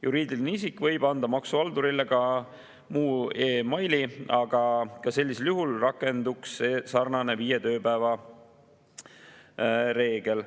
Juriidiline isik võib anda maksuhaldurile ka muu e‑maili, aga ka sellisel juhul rakenduks sarnane viie tööpäeva reegel.